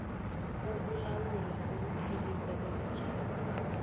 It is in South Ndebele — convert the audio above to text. ukulawula ukupheliswa kwemitjhado